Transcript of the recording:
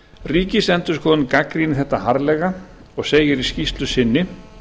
ríkisendurskoðun gagnrýnir þetta harðlega og segir í skýrslu sinni